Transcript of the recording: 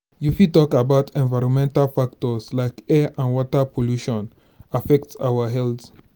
you fit talk about environmental factors like air and water pollution affect our health.